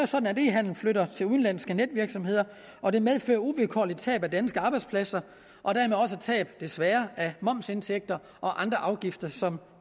sådan e handelen flytter til udenlandske netvirksomheder og det medfører uvilkårligt tab af danske arbejdspladser og dermed også tab desværre af momsindtægter og andre afgifter som